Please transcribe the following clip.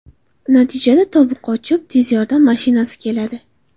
Natijada tobi qochib, tez yordam mashinasi keladi.